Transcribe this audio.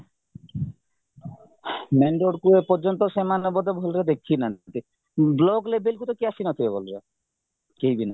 main roadକୁ ଏ ପର୍ଯ୍ୟନ୍ତ ସେମାନେ ବୋଧେ ଭଲରେ ଦେଖିନାହାନ୍ତି block levelକୁ କେହି ଆସିନଥିବେ ଭଲରେ କେହିବି ନାହିଁ